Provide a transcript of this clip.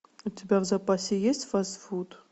у тебя в запасе есть фастфуд